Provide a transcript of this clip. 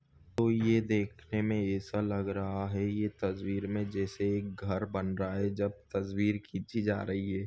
तो ये देखने मे ऐसा लग रहा है ये तसवीर में जैसे एक घर बन रहा है जब तसवीर खिची जा रही है।